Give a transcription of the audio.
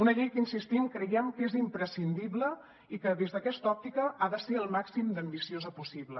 una llei que hi insistim creiem que és imprescindible i que des d’aquesta òptica ha de ser el màxim d’ambiciosa possible